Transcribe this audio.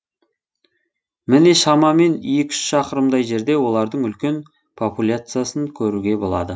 міне шамамен екі үш шақырымдай жерде олардың үлкен популяциясын көруге болады